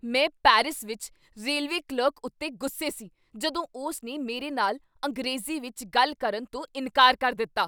ਮੈਂ ਪੈਰਿਸ ਵਿੱਚ railway clerk ਉੱਤੇ ਗੁੱਸੇ ਸੀ ਜਦੋਂ ਉਸ ਨੇ ਮੇਰੇ ਨਾਲ ਅੰਗਰੇਜ਼ੀ ਵਿੱਚ ਗੱਲ ਕਰਨ ਤੋਂ ਇਨਕਾਰ ਕਰ ਦਿੱਤਾ।